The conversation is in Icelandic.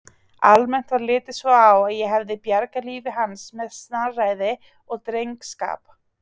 Almennt var litið svo á að ég hefði bjargað lífi hans með snarræði og drengskap.